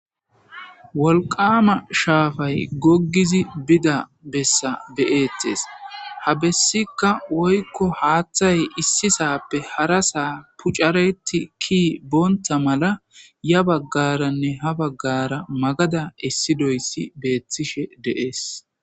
wolqama shaafay goggizi bida bessa beyettes ha bessikka woykko haaththay issi saappe hara saa pucareti ki boonta mala ya baggaranne ha baggara magada essidoyssi beettishe deees